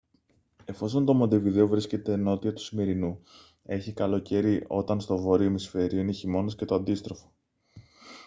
εφόσον το μοντεβιδέο βρίσκεται νότια του ισημερινού έχει καλοκαίρι όταν στο βόρειο ημισφαίριο είναι χειμώνας και το αντίστροφο